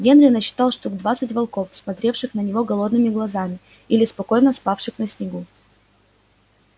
генри насчитал штук двадцать волков смотревших на него голодными глазами или спокойно спавших на снегу